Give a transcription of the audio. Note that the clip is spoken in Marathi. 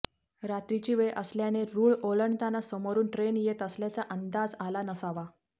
रात्रीची वेळ असल्याने रुळ ओलांडताना समोरुन ट्रेन येत असल्याचा अंदाज आला नसावा